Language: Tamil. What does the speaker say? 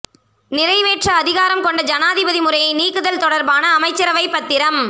நிறைவேற்று அதிகாரம் கொண்ட ஜனாதிபதி முறையை நீக்குதல் தொடர்பான அமைச்சரவைப் பத்திரம்